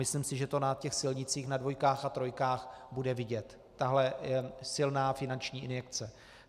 Myslím si, že to na těch silnicích, na dvojkách a trojkách, bude vidět, tato silná finanční injekce.